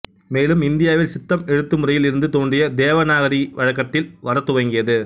மேலும் இந்தியாவில் சித்தம் எழுத்துமுறையில் இருந்து தோன்றிய தேவநாகரி வழக்கத்தில் வரத்துவங்கியது